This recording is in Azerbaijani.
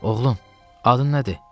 Oğlum, adın nədir?